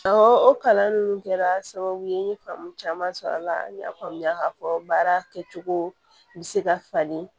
o kalan ninnu kɛra sababu ye n ye faamu caman sɔrɔ a la n y'a faamuya k'a fɔ baara kɛcogo bɛ se ka falen